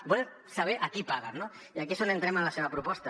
i volen saber a qui paguen no i aquí és on entrem en la seva proposta